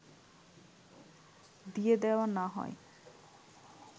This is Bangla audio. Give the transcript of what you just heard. দিয়ে দেয়া না হয়